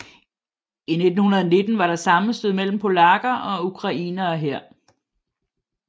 I 1919 var der sammenstød mellem polakker og ukrainere her